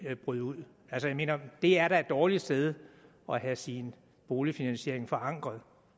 brød ud altså jeg mener det er da et dårligt sted at have sin boligfinansiering forankret